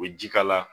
U bɛ ji k'a la